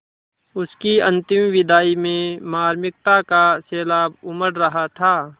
उसकी अंतिम विदाई में मार्मिकता का सैलाब उमड़ रहा था